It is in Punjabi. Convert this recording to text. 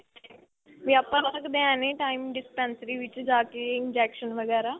ਵੀ ਆਪਾਂ ਲਗਵਾ ਸਕਦੇ ਆ any time dispensary ਵਿੱਚ ਜਾ ਕੇ injection ਵਗੈਰਾ